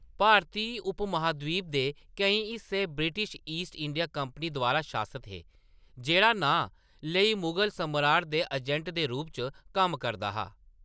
भारती उपमहाद्वीप दे केईं हिस्से ब्रिटिश ईस्ट इंडिया कंपनी द्वारा शासत हे, जेह्‌‌ड़ा नांऽ लेई मुगल सम्राट दे अजैंट दे रूप च कम्म करदा हा।